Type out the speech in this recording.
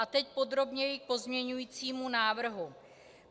A teď podrobněji k pozměňovacímu návrhu.